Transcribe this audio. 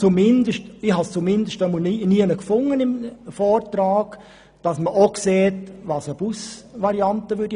Ich habe zumindest nirgends im Vortrag gelesen, was eine Busvariante kosten würde.